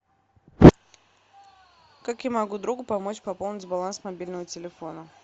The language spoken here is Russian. как я могу другу помочь пополнить баланс мобильного телефона